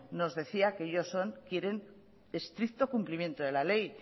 nos decía que ellos quieren un estricto cumplimiento de la ley